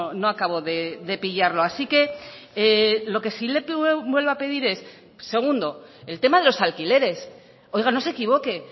no acabo de pillarlo así que lo que si le vuelvo a pedir es segundo el tema de los alquileres oiga no se equivoque